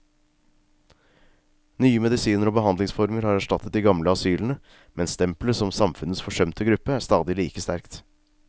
Nye medisiner og behandlingsformer har erstattet de gamle asylene, men stempelet som samfunnets forsømte gruppe er stadig like sterkt.